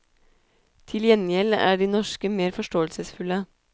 Til gjengjeld er de norske mer forståelsesfulle.